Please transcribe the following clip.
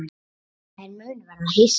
Þær munu verða hissa.